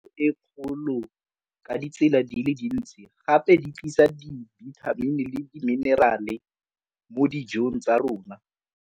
E kgolo ka ditsela di le dintsi gape di tlisa dibithamini le diminerale mo dijong tsa rona.